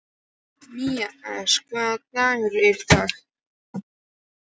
Mías, hvaða dagur er í dag?